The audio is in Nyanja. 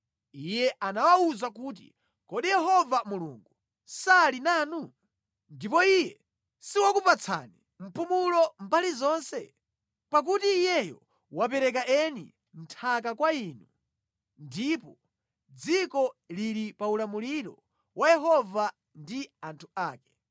Iye anawawuza kuti, “Kodi Yehova Mulungu, sali nanu? Ndipo Iye siwakupatsani mpumulo mbali zonse? Pakuti Iyeyo wapereka eni nthaka kwa inu ndipo dziko lili pa ulamuliro wa Yehova ndi anthu ake.